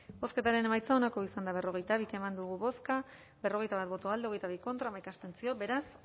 bozketaren emaitza onako izan da berrogeita bi eman dugu bozka berrogeita bat boto alde hogeita bi contra hamaika abstentzio beraz